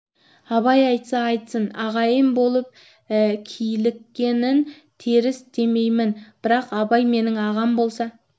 абай айтса айтсын ағайын болып киліккенін теріс демеймін бірақ абай менің ағам болса